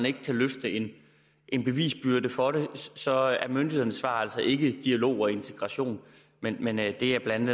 ikke kan løftes en en bevisbyrde for det så er myndighedernes svar altså ikke dialog og integration men men det er blandt